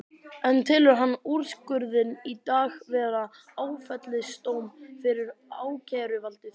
En telur hann úrskurðinn í dag vera áfellisdóm fyrir ákæruvaldið?